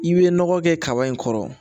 I bɛ nɔgɔ kɛ kaba in kɔrɔ